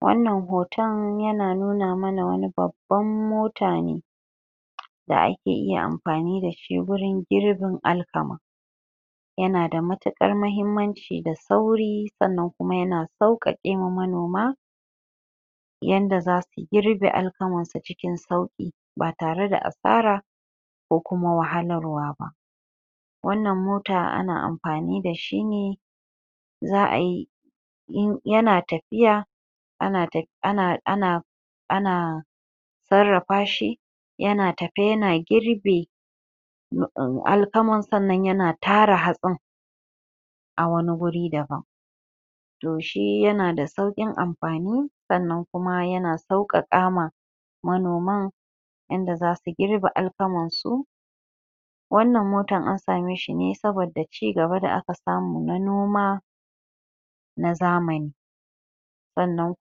Wannan hoton yana nuna mana wani babban mota ne da ake iya amfani dashi wurin girbin alkama yanada matukar mahimmanci da sauri kuma yana saukake ma manoma Yanda zasu girbe alkamansu cikin sauƙi ba tareda asara koh kuma wahalarwa ba Wannan mota ana amfani da shi ne Za'a yi in ya na tafiya???? ana sarrafa shi ya an tafe yana girbe alkama sannan yana tara hatsin a wani guri daban to shi yana da sauƙin amfani sannan kuma ya na sauƙaƙa ma manoman yanda zasu girbe alkamansu wannan motan an same shi ne saboda ci gaba da aka samu na noma na zamani sannan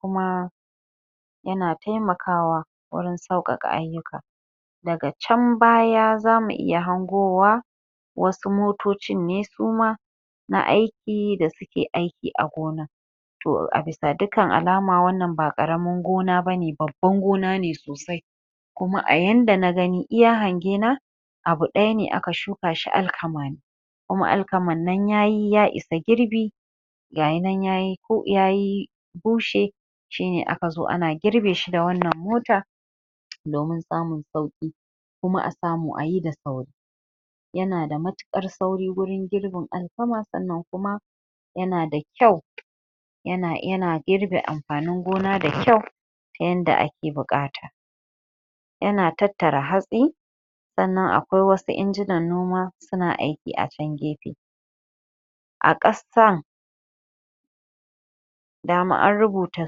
kuma ya na taimakawa wurin sauƙaƙa ayyuka daga can baya zamu iya hangowa wasu motocin ne suma na aiki da suke aiki a gonan to a bisa dukkan alama wannan ba ƙaramin gona bane babban gona ne sosai kuma a yanda na gani iya hange na abu ɗaya ne aka shuka shi alkama ne kuma alkaman nan yayi ya isa girbi ga yi nan yayi ya bushe shi ne aka zo ana girbe shi da wannan mota domin samun sauƙi kuma a samu ayi da sauri yana da matuƙar sauri wurin girbin alkama sannan kuma yana da kyau ya na girbe amfanin gona da kyau yanda ake buƙata yana tattara hatsi sannan akwai wasu injinan noma suna aiki a can gefe a ƙasan dama an rubuta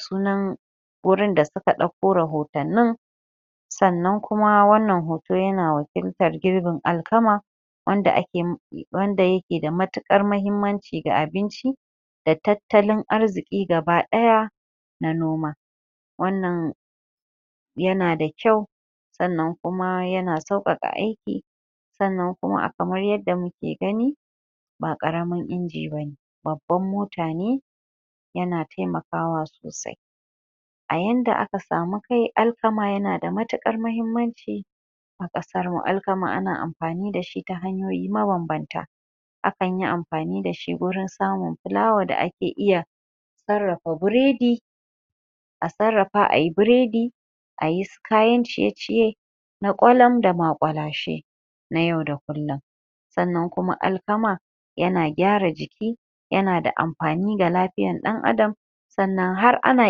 sunan wurin da suka ɗauko rahotannin sannan kuma wannan hoton yana wakiltar girbin alkamam???? wanda yake da matuƙar muhimmanci ga abinco da tattlin arziƙi gaba ɗaya na noma wannan ya na da kyau sannan kuma yana sauƙaƙa aiki sannan a kamar yadda muke gani ba ƙaramin inji bane babban mota ne ya na taimakawa sosai a yanda aka samu kai alkama ya na da matuƙar muhimmanci a ƙasar muuu alkama ana amfani da shi ta hanyoyi mabanbanta akan yi amfani da shi wurin samin fulawa da ake iya????? a sarrafa ayi biredi a yi su kayan ciye-ciye na ƙwalam da maƙulashe sannan kuma alkama yana gyara jiki ya na da amfani ga lafiyar ɗan adam sannan har ana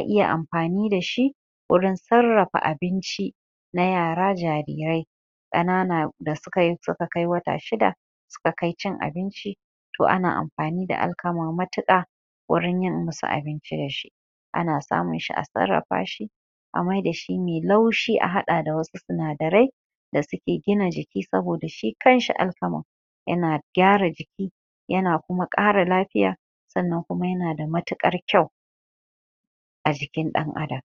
iya amfani da shi wurin sarrafa abinci na yara jarirai ƙanana da suka kai wata shida suka kai cin abinci to ana amfani da alkama matuƙa wurin i musu abinci da su ana samun shi a sarrafa shi a maida shi mai laushi a haɗa shi da wasu sinadarai da suke gina jiki saboda shi kanshi alkama ya na gyara jiki ya na kuma ƙara lafiya snnan kuma yana da matuƙar kyau a jikin ɗan adam